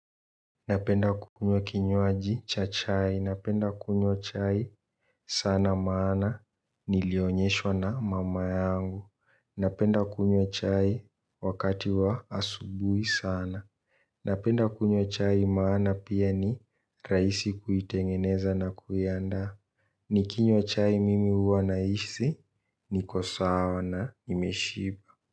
Napend kukunywa kinywaji cha chai. Napenda kunywa chai sana maana nilionyeshwa na mama yangu. Napenda kunywa chai wakati wa asubuhi sana. Napenda kunywa chai maana pia ni rahisi kuitengeneza na kuiandaa. Nikinywa chai mimi huwa nahisi niko sawa na nimeshiba.